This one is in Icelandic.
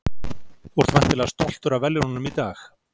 Þú ert væntanlega stoltur af verðlaununum í dag?